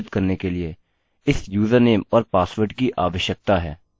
हमें यहाँ क्या लिखना चाहिए हमें अपने डेटाबेस से जुड़ने की आवश्यकता है